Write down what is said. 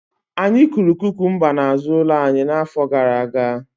Anyị kụrụ kukumba n'azụ ụlọ anyị n'afọ gara aga